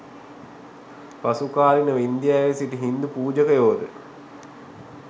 පසුකාලීනව ඉන්දියාවේ සිටි හින්දු පූජකයෝද